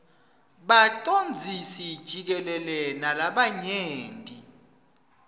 bacondzisi jikelele nalabanye